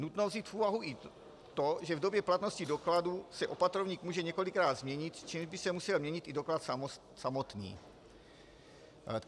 Nutno vzít v úvahu i to, že v době platnosti dokladu se opatrovník může několikrát změnit, čímž by se musel měnit i doklad samotný.